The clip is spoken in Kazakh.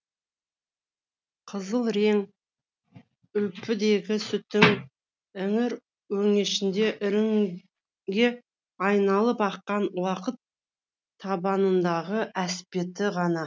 қызыл рең үлпідегі сүттің іңір өңешінде іріңге айналып аққан уақыт табанындағы әспеті ғана